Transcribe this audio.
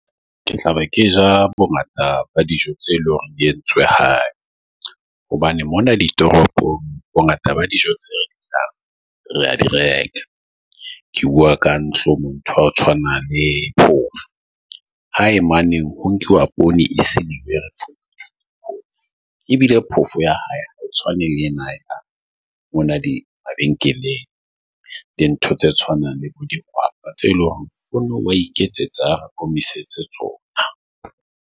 Ke tlabe ke ja bongata ba dijo tse leng hore di entswe hae hobane mona ditoropong bongata ba dijo tse re a di reka. Ke bua ka ntlong mo ntho tshwana le phofo. Hae maneng ho nkuwa poone, e se ebile phofo ya hae, tshoane le ena O na die mabenkeleng, dintho tse tshwanang le tse eleng hore oa iketsetsa tsona .